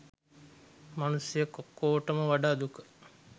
මනුස්සයෙක් ඔක්කොටම වඩා දුක